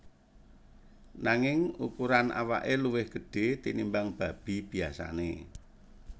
Nanging ukuran awake luwih gedhe tinimbang babi biyasane